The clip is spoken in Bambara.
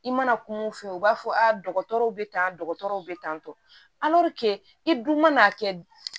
I mana kuma mun f'i ye u b'a fɔ dɔgɔtɔrɔw bɛ tan dɔgɔtɔrɔw bɛ tantɔ i dun mana kɛ